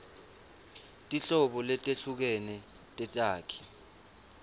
tinhlobo letehlukene tetakhi